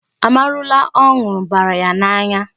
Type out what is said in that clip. Amarula ọ nụrụ bara ya n'anya.